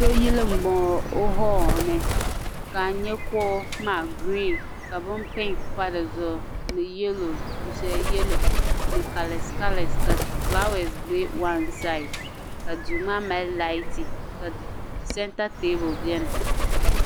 Dooyili m bo ŋɔ o hoolini ka a nye kuɣu maa gireen ka bin piŋk pa di zuɣu ni dufɛli yalo ni kalesi kalesi ka fulaawesi be waansiyi ka duumaa mali layis ka santa teebuli biɛni.